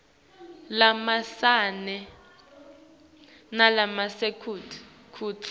lamancane nalasemkhatsini kutsi